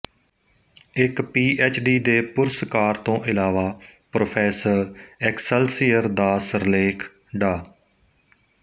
ਇੱਕ ਪੀਐਚਡੀ ਦੇ ਪੁਰਸਕਾਰ ਤੋਂ ਇਲਾਵਾ ਪ੍ਰੋਫੈਸਰ ਐਕਸਲਸੀਅਰ ਦਾ ਸਿਰਲੇਖ ਡਾ